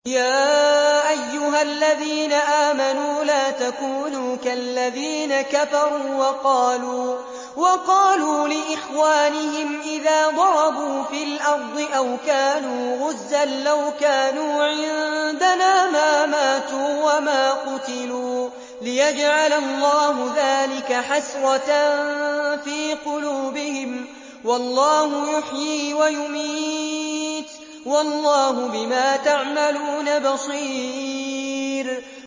يَا أَيُّهَا الَّذِينَ آمَنُوا لَا تَكُونُوا كَالَّذِينَ كَفَرُوا وَقَالُوا لِإِخْوَانِهِمْ إِذَا ضَرَبُوا فِي الْأَرْضِ أَوْ كَانُوا غُزًّى لَّوْ كَانُوا عِندَنَا مَا مَاتُوا وَمَا قُتِلُوا لِيَجْعَلَ اللَّهُ ذَٰلِكَ حَسْرَةً فِي قُلُوبِهِمْ ۗ وَاللَّهُ يُحْيِي وَيُمِيتُ ۗ وَاللَّهُ بِمَا تَعْمَلُونَ بَصِيرٌ